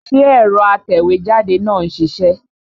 Ṣé ẹ̀rọ atẹ̀wẹ́jáde náà ń ṣiṣẹ́?